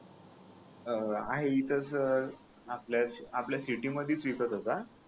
आ हा आहे इथच आपल्या आपल्या सिटी मध्येच विकत होता